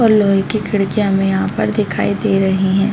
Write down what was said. और लोहे की खिडक़िया हमें यहाँ पर दिखाई दे रही है।